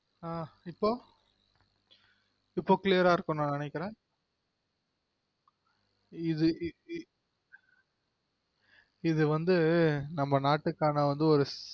அஹ் இப்ப இப்பொ clear ஆ இருக்கும்னு நான் நெனைகிறென் இது வந்து நம்ம நாட்டுக்கான வந்து ஒரு